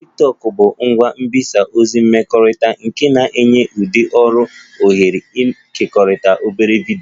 Tiktokụ bụ ngwa mgbasa ozi mmekọrịta nke na-enye ndị ọrụ ohere ịkekọrịta obere vidiyo